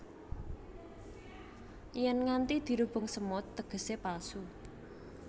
Yèn nganti dirubung semut tegesé palsu